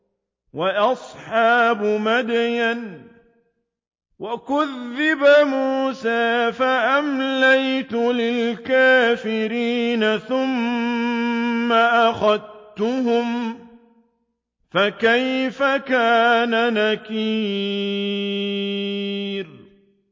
وَأَصْحَابُ مَدْيَنَ ۖ وَكُذِّبَ مُوسَىٰ فَأَمْلَيْتُ لِلْكَافِرِينَ ثُمَّ أَخَذْتُهُمْ ۖ فَكَيْفَ كَانَ نَكِيرِ